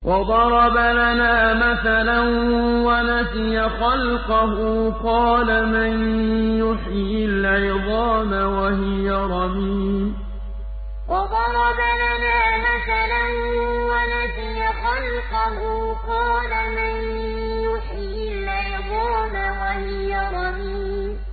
وَضَرَبَ لَنَا مَثَلًا وَنَسِيَ خَلْقَهُ ۖ قَالَ مَن يُحْيِي الْعِظَامَ وَهِيَ رَمِيمٌ وَضَرَبَ لَنَا مَثَلًا وَنَسِيَ خَلْقَهُ ۖ قَالَ مَن يُحْيِي الْعِظَامَ وَهِيَ رَمِيمٌ